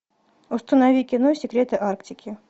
установи кино секреты арктики